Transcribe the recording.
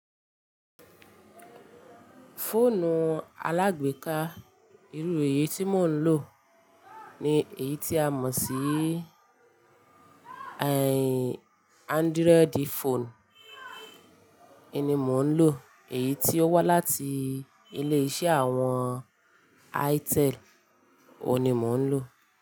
Fóònù alágbèéká, irú èyí tí mò ń lò ni èyí tí a mọ̀ sí, eh, Android phone. Oun ni mò ń lò, èyí tí ó wá láti ilé-iṣẹ́ àwọn Itel, òun ni mò ń lò.